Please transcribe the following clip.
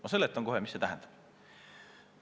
Ma seletan kohe, mida see tähendab.